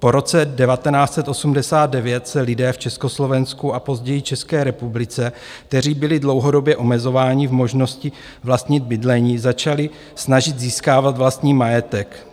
Po roce 1989 se lidé v Československu a později České republice, kteří byli dlouhodobě omezováni v možnosti vlastnit bydlení, začali snažit získávat vlastní majetek.